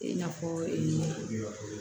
I n'a fɔ